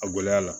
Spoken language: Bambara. A gɔlɛya la